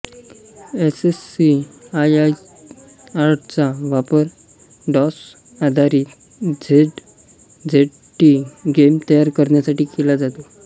ASCII आर्टचा वापर डॉसआधारित झेडझेडटी गेम तयार करण्यासाठी केला जातो